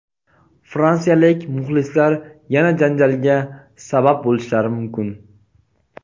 Fransiyalik muxlislar yana janjalga sabab bo‘lishlari mumkin.